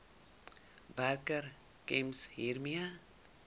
werkgewer gems hiermee